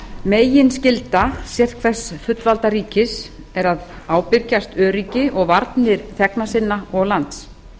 meginskylda sérhvers fullvalda ríkis er að ábyrgjast öryggi og varnir þegna sinna og lands